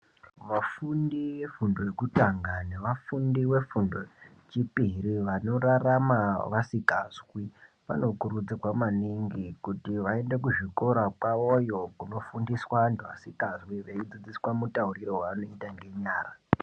Vafundi vefundo yekutanga nevafundi vefundo yechipiri vanorarama vasikazwi vanokurudzirwa maningi kuti vaende kuzvikora kwavo yoo kunofundiswa vantu vasingazwi veidzidziswa mutauriro vaunoita ngenyara.